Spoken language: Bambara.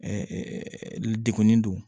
degunni don